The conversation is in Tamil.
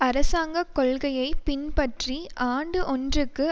அரசாங்க கொள்கையை பின்பற்றி ஆண்டு ஒன்றுக்கு